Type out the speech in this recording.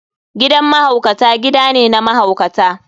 Gidan mahaukata gida ne na mahaukata.